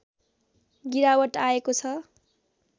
गिरावट आएको छ